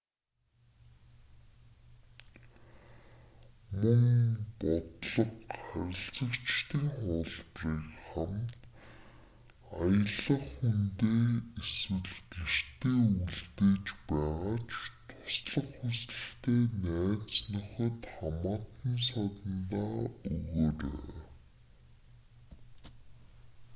мөн бодлого/харилцагчдын хуулбарыг хамт аялах хүндээ эсвэл гэртээ үлдэж байгаа ч туслах хүсэлтэй найз нөхөд хамаатан садандаа өгөөрэй